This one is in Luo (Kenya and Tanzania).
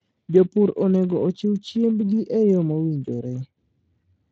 Jopur onego ochiw chiembgi e yo mowinjore.